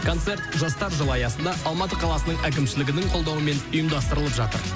концерт жастар жылы аясында алматы қаласының әкімшілігінің қолдауымен ұйымдастырылып жатыр